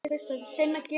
Takk, elsku amma.